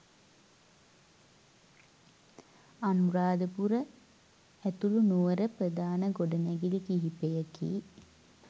අනුරාධපුර ඇතුළු නුවර ප්‍රධාන ගොඩනැගිලි කිහිපයකි